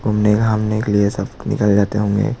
घूमने घामने के लिए सब निकल जाते होंगे--